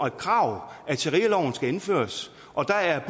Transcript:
et krav at sharialoven skal indføres og der er